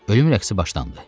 Ölüm rəqsi başlandı.